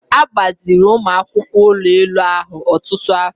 A gbaziri ụmụ akwụkwọ ụlọ elu ahụ ọtụtụ afọ.